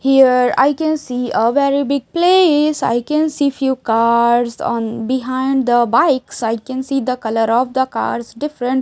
here I can see a very big place I can see few cars on behind the bikes I can see the color of the cars different.